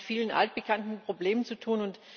Wir haben es mit vielen altbekannten Problemen zu tun.